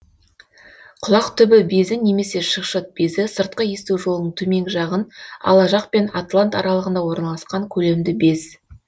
құлақтүбі безі немесе шықшыт безі сыртқы есту жолының төменгі жағын ала жақ пен атлант аралығында орналасқан көлемді без